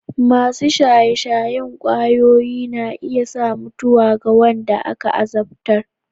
Masu shaye-shayen ƙwayoyi na iya sa mutuwa ga wanda aka azabtar.